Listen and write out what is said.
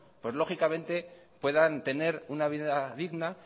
pues lógicamente puedan tener una vida digna